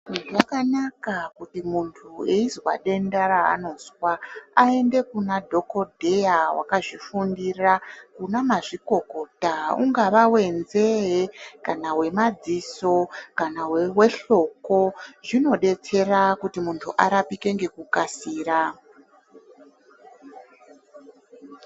Zvakanaka kuti muntu weizwe denda raanozwa aende kuna dhokodheya akazvifundira kunamazvikokota. Ungava wenzee kana wemadziso kana wehloko. Zvinodetsera kuti muntu arapike ngekukasira.